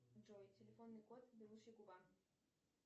джой телефонный код беличья губа